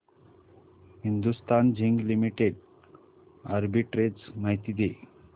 Hindustan zinc limited arbitrage माहिती दे